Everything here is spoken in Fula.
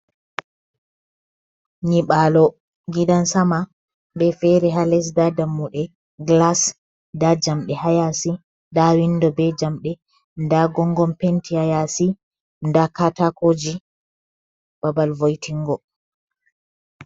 Nyiɓalo gidan sama be fere hales, nda dammuɗe gilas nda jamɗe hayasi, nda windo be jamɗe, nda gongon penti hayasi, nda katakoji babal voytingo.